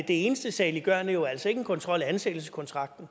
eneste saliggørende jo altså ikke en kontrol af ansættelseskontrakten